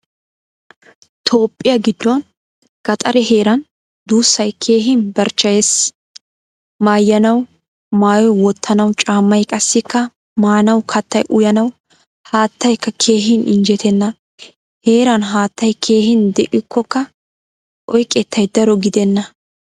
Toohphpiyaa giddon gaxaree heeran duusay keehin barchcheyees. Maayanawu maayoy wottanawu caamay qassikka maanawu kattay uyanawu haattaykka keehin injjettena. Heeraan haattaay keehin deikkokka oyqqettay daro giddena.